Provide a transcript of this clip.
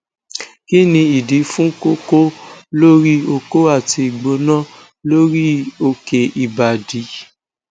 kini idi fun koko lori oko ati igbona lori oke ibadi